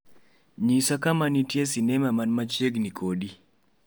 Nyis kama nitie sinema man machiegni kodi